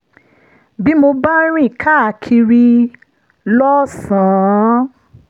bí mo bá ń rìn káàkiri lọ́sàn-án